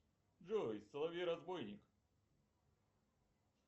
джой соловей разбойник